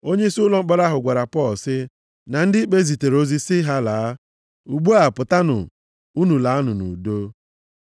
Onyeisi ụlọ mkpọrọ ahụ gwara Pọl, sị, “na ndị ikpe zitere ozi sị ha laa. Ugbu a pụtanụ. Unu laanụ nʼudo.”